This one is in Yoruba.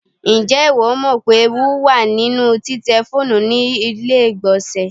Ǹjẹ́ ìwọ mọ̀ pé ewu wà nínú títẹ fóònù ní ilé ìgbọlnsẹ̀?